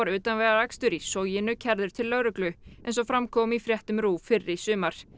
utanvegaakstur í Soginu kærður til lögreglu eins og fram kom í fréttum RÚV fyrr í sumar